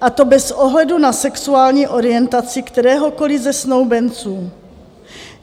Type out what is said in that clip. a to bez ohledu na sexuální orientaci kteréhokoliv ze snoubenců.